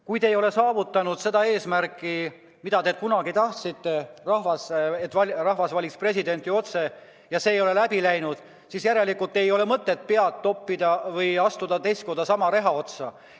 Kui te ei ole saavutanud seda eesmärki, mida te kunagi tahtsite saavutada, et rahvas valiks presidenti otse, see ei ole läbi läinud, siis järelikult ei ole mõtet astuda teist korda sama reha otsa.